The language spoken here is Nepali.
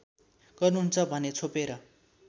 गर्नुहुन्छ भने छोपेर